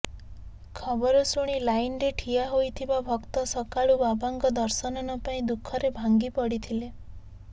ଖବର ଶୁଣି ଲାଇନରେ ଠିଆ ହୋଇଥିବା ଭକ୍ତ ସକାଳୁ ବାବାଙ୍କ ଦର୍ଶନ ନପାଇ ଦୁଃଖରେ ଭାଙ୍ଗି ପଡ଼ିଥିଲେ